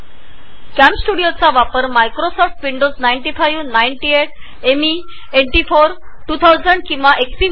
कॅमस्टुडिओचा वापर Microsoft Windows 95 98 ME NT 40 2000 किंवा XP